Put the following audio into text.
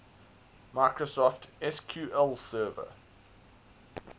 microsoft sql server